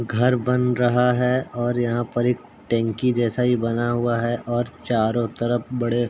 घर बन रहा है और यहाँ पर एक टंकी जैसा ही बना हुआ है और चारों तरफ बड़े --